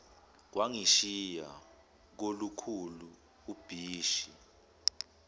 kwangishiya kolukhulu ubishi